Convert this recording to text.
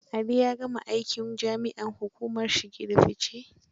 Ali ya gama aikin jami'an hukumar shige da fice.